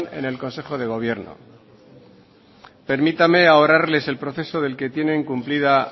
en el consejo de gobierno permítanme ahorrarles el proceso del que tienen cumplida